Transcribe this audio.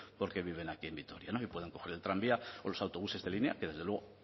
porque viven aquí en vitoria y pueden coger el tranvía o los autobuses de línea que desde luego